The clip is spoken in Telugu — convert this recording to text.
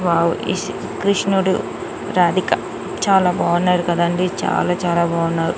వావ్ ఈ కృష్ణుడు రాధిక చాలా బాగున్నారు కదా అండి చాలా చాలా బాగున్నారు.